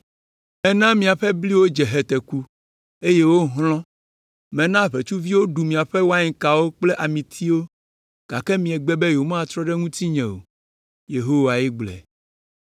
“Mena miaƒe bliwo dze heteku, eye wohlɔ̃; mena ʋetsuviwo ɖu miaƒe wainkawo kple amitiwo, gake miegbe be yewomatrɔ ɖe ŋutinye o.” Yehowae gblɔe.